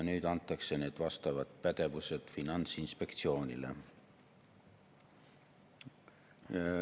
Nüüd antakse need pädevused Finantsinspektsioonile.